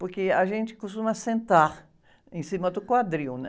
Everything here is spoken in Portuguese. Porque a gente costuma sentar em cima do quadril, né?